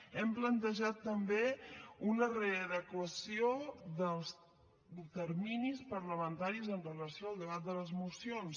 hem plantejat també una readequació dels terminis parlamentaris amb relació al debat de les mocions